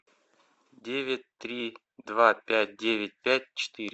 девять три два пять девять пять четыре